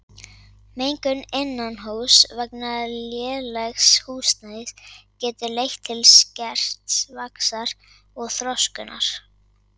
Mengun innanhúss vegna lélegs húsnæðis getur leitt til skerts vaxtar og þroskunar.